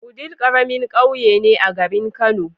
Wudil karamin ƙauye ne a garin kani